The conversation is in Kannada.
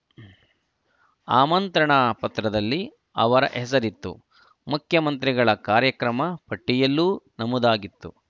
ಆಮಂತ್ರಣ ಪತ್ರದಲ್ಲಿ ಅವರ ಹೆಸರಿತ್ತು ಮುಖ್ಯಮಂತ್ರಿಗಳ ಕಾರ್ಯಕ್ರಮ ಪಟ್ಟಿಯಲ್ಲೂ ನಮೂದಾಗಿತ್ತು